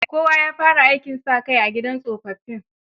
Kowa ya fara aikin sa kai a gidan tsofaffi.